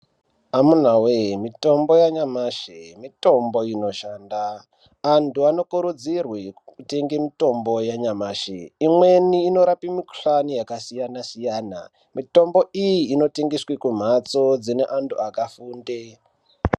Amuna wee mitombo yanyamashi mitombo inoshanda, antu anokurudzirwe kutenge mitombo yanyamashi, imweni inoraoe mikhuhlani yakasiyana siyana, mitombo iyi inotengeswe kumhatso dzine vantu vakafunde.